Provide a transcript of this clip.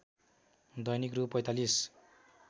दैनिक रु ४५